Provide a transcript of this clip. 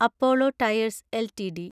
Apollo Tyres LTD